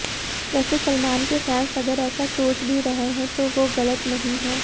वैसे सलमान के फैन्स अगर ऐसा सोच भी रहे हैं तो वो गलत नहीं है